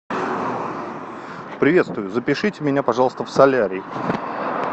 приветствую запишите меня пожалуйста в солярий